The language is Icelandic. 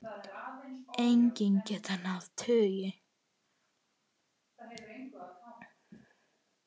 Eggin geta náð tugi.